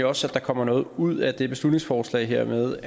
også at der kommer noget ud af det beslutningsforslag her ved